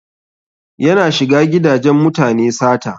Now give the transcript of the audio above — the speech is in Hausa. Yana shiga gidajen mutane sata.